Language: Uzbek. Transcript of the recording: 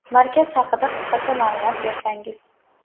Markaz haqida qisqacha ma’lumot bersangiz?